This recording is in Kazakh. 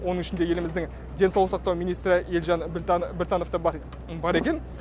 оның ішінде еліміздің денсаулық сақтау министрі елжан біртанов та бар екен